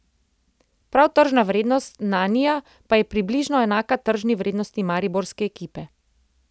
Prav tržna vrednost Nanija pa je približno enaka tržni vrednosti mariborske ekipe.